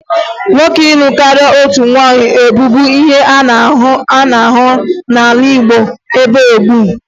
Nwoke ịlụ karịa otu nwaanyị bụbu ihe a na-ahụkarị n'ala Igbo mgbe gboo